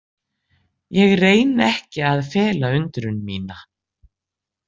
Ég reyni ekki að fela undrun mína.